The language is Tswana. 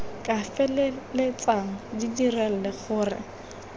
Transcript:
ka feleltsang di dirile gore